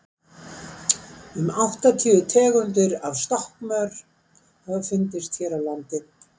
um áttatíu tegundir af stökkmor hafa fundist hér á landi